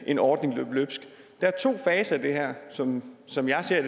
en ordning løbe løbsk der er to faser i det her sådan som jeg ser